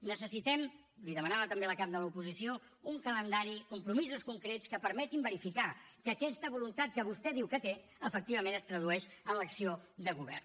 necessitem l’hi demanava també la cap de l’oposició un calendari compromisos concrets que permetin verificar que aquesta voluntat que vostè diu que té efectivament es tradueix en l’acció de govern